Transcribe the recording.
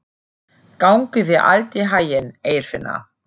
Gangi þér allt í haginn, Eirfinna.